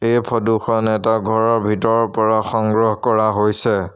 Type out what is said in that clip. এই ফটো খন এটা ঘৰৰ ভিতৰৰ পৰা সংগ্ৰহ কৰা হৈছে।